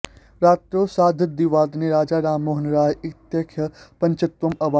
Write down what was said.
रात्रौ सार्धद्विवादने राजा राममोहन राय इत्याख्यः पञ्चत्वम् अवाप